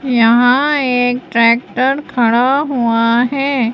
यहां एक ट्रैक्टर खड़ा हुआ हैं।